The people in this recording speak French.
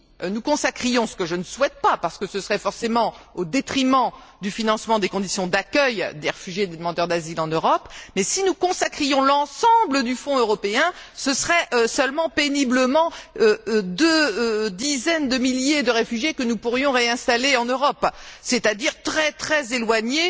Si nous consacrions ce que je ne souhaite pas parce que ce serait forcément au détriment du financement des conditions d'accueil des réfugiés, des demandeurs d'asile en Europe mais si nous consacrions l'ensemble du Fonds européen, ce serait seulement, péniblement, deux dizaines de milliers de réfugiés que nous pourrions réinstaller en Europe, un nombre extrêmement éloigné